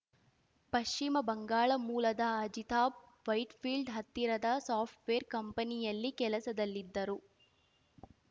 ಪಶ್ಚಿಮ ಬಂಗಾಳ ಮೂಲದ ಅಜಿತಾಬ್‌ ವೈಟ್‌ಫೀಲ್ಡ್‌ ಹತ್ತಿರದ ಸಾಫ್ಟ್‌ವೇರ್‌ ಕಂಪನಿಯಲ್ಲಿ ಕೆಲಸದಲ್ಲಿದ್ದರು